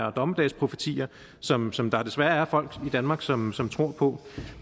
og dommedagsprofetier som som der desværre er folk i danmark som som tror på